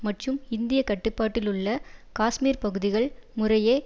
மற்றும் இந்திய கட்டுப்பாட்டிலுள்ள காஷ்மீர் பகுதிகள் முறையே